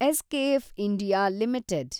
SKF India limited